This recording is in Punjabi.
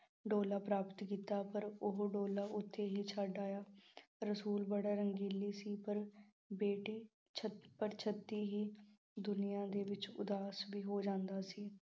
ਡੋਲਾ ਪ੍ਰਾਪਤ ਕੀਤਾ। ਪਰ ਉਹ ਡੋਲਾ ਉੱਥੇ ਹੀ ਛੱਡ ਆਇਆ। ਰਸੂਲ ਬੜਾ ਰੰਗੀਲੀ ਸੀ ਪਰ ਪਰ ਛੇਤੀ ਹੀ ਦੁਨੀਆਂ ਦੇ ਵਿੱਚ ਉਦਾਸ ਵੀ ਹੋ ਜਾਂਦਾ ਸੀ।